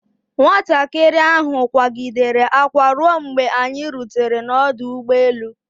Nwatakịrị ahụ akwaa gidere akwa ruo mgbe anyi rutere n'ọdụ ụgbọ elu.